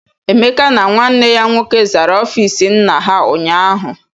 Emeka na nwanne ya nwoke zara ọfiisi nna ha ụnyaahụ.